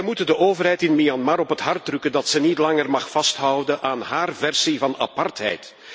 Wij moeten de overheid in Myanmar op het hart drukken dat zij niet langer mag vasthouden aan haar eigen versie van apartheid.